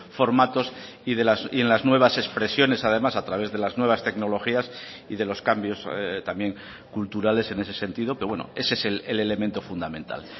formatos y en las nuevas expresiones además a través de las nuevas tecnologías y de los cambios también culturales en ese sentido que bueno ese es el elemento fundamental